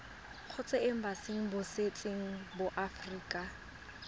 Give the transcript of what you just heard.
kgotsa embasing botseteng ba aforika